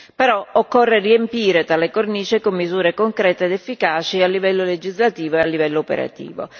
Però, occorre riempire tale cornice con misure concrete ed efficaci a livello legislativo e a livello operativo.